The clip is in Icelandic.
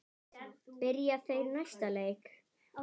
Byrja þeir næsta leik?